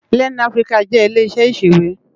Lèn Afiriká jè ilé iṣè iṣéwé